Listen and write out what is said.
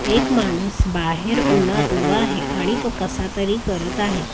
एक माणूस बाहेर उनात उभा आहे आणि तो कसातरी करत आहे.